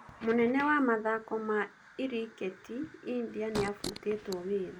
Mũnene wa mathako ma lriketi India niafutetwo wira.